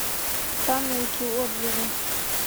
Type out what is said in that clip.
тануки отзывы